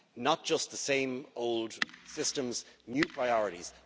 not just the same old systems but new priorities.